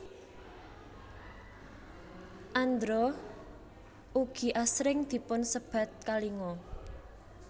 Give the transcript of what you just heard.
Andhra ugi asring dipun sebat Kalinga